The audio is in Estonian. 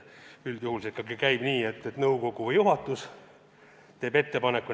Üldjuhul see ikkagi käib nii, et nõukogu juhatus teeb ettepaneku.